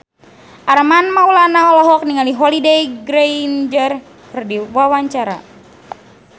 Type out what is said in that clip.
Armand Maulana olohok ningali Holliday Grainger keur diwawancara